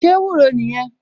Ṣé ewúro nìyẹn?